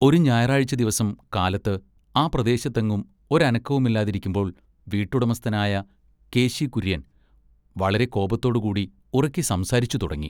ഒരു ഞായറാഴ്ച ദിവസം കാലത്ത് ആ പ്രദേശത്തെങ്ങും ഒരനക്കവുമില്ലാതിരിക്കുമ്പോൾ വീട്ടുടമസ്ഥനായ കേശി കുര്യൻ വളരെ കോപത്തോടു കൂടി ഉറക്കെ സംസാരിച്ചുതുടങ്ങി.